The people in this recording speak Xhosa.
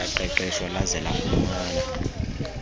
laqeqeshwa laze lafumana